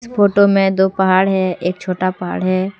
Photo में दो पहाड हैं एक छोटा पहाड़ है।